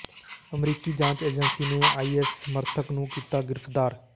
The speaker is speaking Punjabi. ਅਮਰੀਕੀ ਜਾਂਚ ਏਜੰਸੀ ਨੇ ਆਈਐਸ ਸਮਰਥਕ ਨੂੰ ਕੀਤਾ ਗਿ੍ਰਫ਼ਤਾਰ